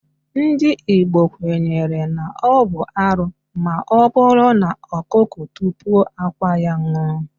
Ndị Igbo kwenyere na ọ bụ arụ maọbụrụ na ọkụkọ tupuo akwa ya ṅụọ